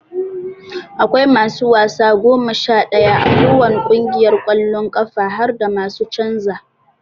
Aƙwai masu wasa goma Sha daya a ko wani kungiyar kwallon kafa harda masu canza.